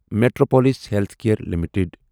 Metropolis healthcare limited